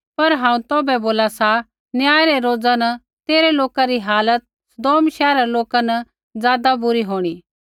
पर हांऊँ तौभै बोला सा न्याय रै रोज़ा न तेरै लोकै री हालत सदोम शैहरा रै लोका न ज़ादा बुरी होंणी